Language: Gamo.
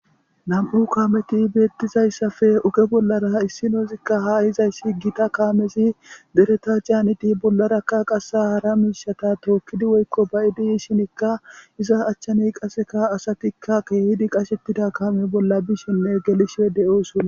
Nam7u kaameti beettizayssafe oke bollara issinozikka haa hizayssi gita kaamezi dereta caaniti bollarakka qasa hara miishata tookkidi woykko bayidi yishinikka iza achchani qaseka asatikka keehidi qashettida kaame bolla bishenne gelishee de7ooson